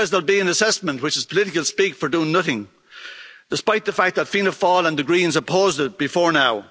It says there will be an assessment, which is political speak for doing nothing, despite the fact that Fianna Fáil and the Greens opposed it before now.